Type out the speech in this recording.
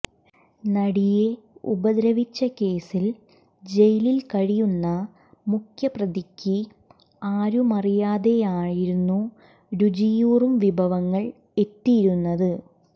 നടിയെ ഉപദ്രവിച്ച കേസിൽ ജയിലിൽ കഴിയുന്ന മുഖ്യപ്രതിക്ക് ആരുമറിയാതെയായിരുന്നു രുചിയൂറും വിഭവങ്ങൾ എത്തിയിരുന്നത്